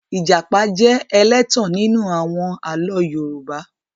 I apá jẹ́ ẹlẹ́tàn nínú àwọn àlọ́ Yorùbá.